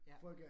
Ja